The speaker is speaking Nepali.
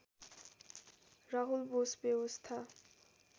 राहुल बोस व्यवस्था